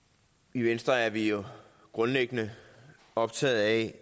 i venstre er vi jo grundlæggende optaget af